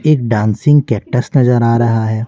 एक dancing cactus नजर आ रहा है।